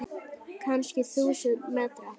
Kannski þúsund metra?